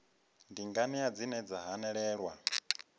ndi nganea dzine dza hanelelwa